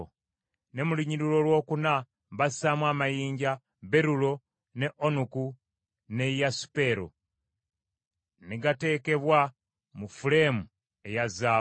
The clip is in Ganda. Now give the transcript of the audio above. ne mu lunyiriri olwokuna bassaamu amayinja: berulo, ne onuku, ne yasipero; ne gategekebwa mu fuleemu eya zaabu.